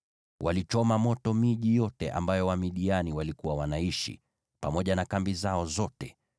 Walichoma moto miji yote ambayo Wamidiani walikuwa wanaishi, pamoja na kambi zao zote.